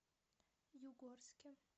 югорске